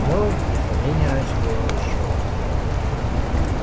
но без сомнения раньше бывало ещё хуже